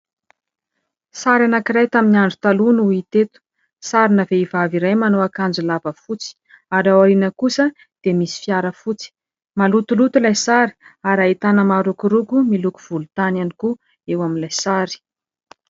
Sary anankiray tamin'ny andro taloha no hita eto. Sarina vehivavy iray manao akanjo lava fotsy, ary ao aoriana kosa dia misy fiara fotsy; malotoloto ilay sary, ary ahitana marokoroko miloko volontany ihany koa eo amin'ilay sary.